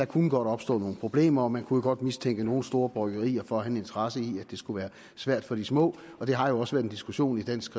kunne opstå nogle problemer og man kunne jo godt mistænke nogle store bryggerier for at have en interesse i at det skulle være svært for de små og det har jo også været en diskussion i dansk